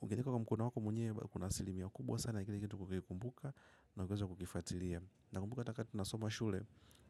ukiandika kwa mkono wako mwenyewe kuna asilimia kubwa sana kile kitu kukikumbuka na kuweza kukifuatilia. Nakumbuka hata kaa tunasoma shule.